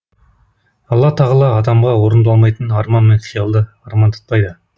алла тағала адамға орындалмайтын арман мен қиялды армандатпайды